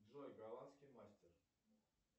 джой голландский мастер